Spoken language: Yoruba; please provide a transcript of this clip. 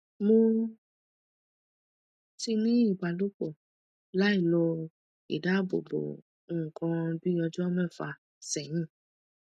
mo ti ní ìbálòpọ lailo idáàbòbo nǹkan bí ọjọ mẹfà sẹyìn